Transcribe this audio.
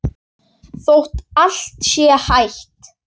Þótt allt sé hætt?